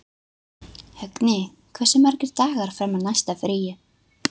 Högni, hversu margir dagar fram að næsta fríi?